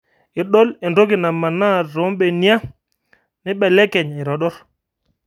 Idol entoki namanaa toombenia nebelekeny aitodor